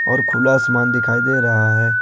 और खुला आसमान दिखाई दे रहा है।